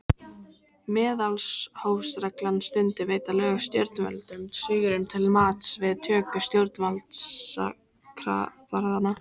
Meðalhófsreglan Stundum veita lög stjórnvöldum svigrúm til mats við töku stjórnvaldsákvarðana.